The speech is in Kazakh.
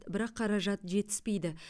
бірақ қаражат жетіспейді